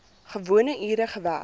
gewone ure gewerk